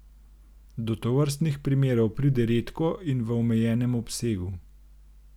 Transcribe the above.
Do tovrstnih primerov pride redko in v omejenem obsegu.